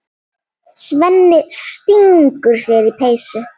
Svenni stingur sér í peysu.